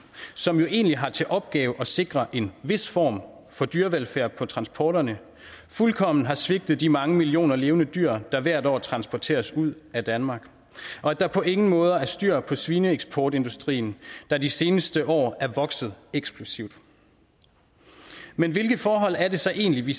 som jo egentlig har til opgave at sikre en vis form for dyrevelfærd på transporterne fuldkommen har svigtet de mange millioner levende dyr der hvert år transporteres ud af danmark og at der på ingen måder er styr på svineeksportindustrien der de seneste år er vokset eksplosivt men hvilke forhold er det så egentlig vi